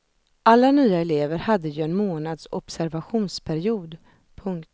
Alla nya elever hade ju en månads observationsperiod. punkt